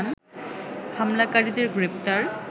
হামলাকারীদের গ্রেপ্তার